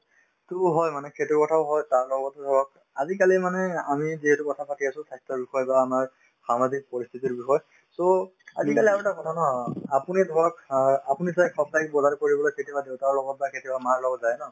টোও হয় মানে সেইটোও হয় তাৰ লগতে ধৰক আজিকালি মানে আমি যিহেতু কথাপাতি আছো স্ৱাস্থ্যৰ বিষয় বা আমাৰ সামাজিক পৰিস্থিতিৰ বিষয়ে so আজিকালি আৰু এটা ধাৰণা আপুনি ধৰক অ আপুনি ছাগে সপ্তাহিক বজাৰ কৰিবলৈ কেতিয়াবা দেউতাৰ লগত বা কেতিয়াবা মাৰ লগত যায় ন